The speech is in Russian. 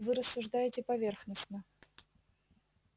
вы рассуждаете поверхностно